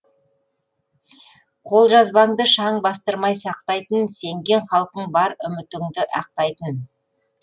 қолжазбаңды шаң бастырмай сақтайтын сенген халқың бар үмітіңді ақтайтын